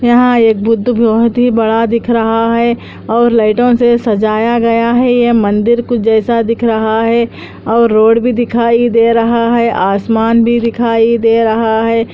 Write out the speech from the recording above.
यहाँ एक बुद्ध बहुत ही बड़ा दिख रहा है और लाइटों से सजाया गया है ये मंदिर के कुछ जैसा दिख रहा है और रोड भी दिखाई दे रहा है और आसमान भी दिखाई दे रहा है।